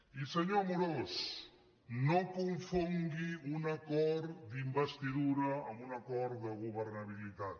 i senyor amorós no confongui un acord d’investidura amb un acord de governabilitat